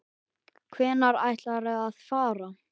Hvenær ætlarðu að fara?